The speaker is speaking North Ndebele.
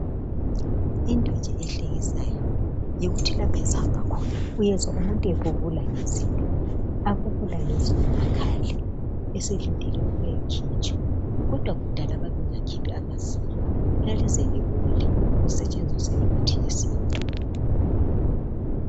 Into nje ehlekisayo yikuthi lapho esihamba khona uyezwa umuntu ebubula ngezinyo, abubula ngezinyo akhale eselindile ukuya likhitshwa kodwa kudala babengakhiphi amazinyo lalize libole kusetshenziswa imithi yesintu.